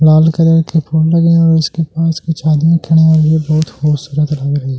लाल colour के फूल लगे हैं और उसके पास की छादियां खड़े हैं और ये बहुत खूबसूरत लग रही है।